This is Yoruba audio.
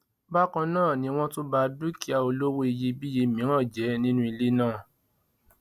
bákan náà ni wọn tún ba dúkìá olówó iyebíye mìíràn jẹ nínú ilé náà